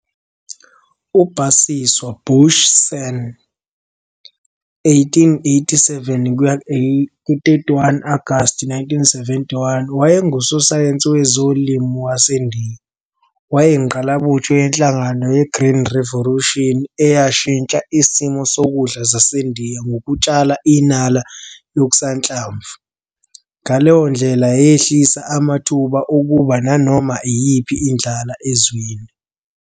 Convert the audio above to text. U-Basiswar "Boshi" Sen, 1887 - 31 Agasti 1971, wayengusosayensi wezolimo waseNdiya. Wayeyingqalabutho yenhlangano yeGreen Revolution eyashintsha isimo sokudla saseNdiya ngokutshala inala yokusanhlamvu, ngaleyo ndlela yehlisa amathuba okuba nanoma iyiphi indlala ezweni.